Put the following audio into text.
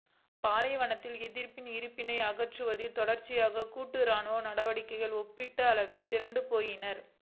பாலைவனத்தில் எதிர்ப்பின் இருப்பினை அகற்றுவதில் தொடர்ச்சியான கூட்டு இராணுவ நடவடிக்கைகள் ஒப்பீட்டளவில் திறனற்றுப் போயின